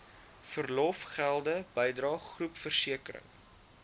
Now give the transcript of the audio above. verlofgelde bydrae groepversekering